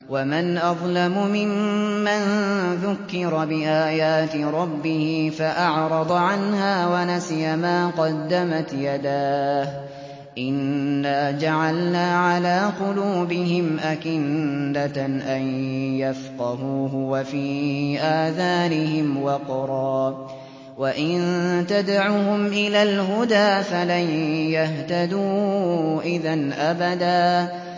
وَمَنْ أَظْلَمُ مِمَّن ذُكِّرَ بِآيَاتِ رَبِّهِ فَأَعْرَضَ عَنْهَا وَنَسِيَ مَا قَدَّمَتْ يَدَاهُ ۚ إِنَّا جَعَلْنَا عَلَىٰ قُلُوبِهِمْ أَكِنَّةً أَن يَفْقَهُوهُ وَفِي آذَانِهِمْ وَقْرًا ۖ وَإِن تَدْعُهُمْ إِلَى الْهُدَىٰ فَلَن يَهْتَدُوا إِذًا أَبَدًا